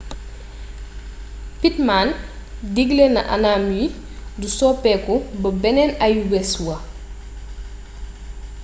pittman diggle na anam yi du soppeeku ba beneen ayubés wa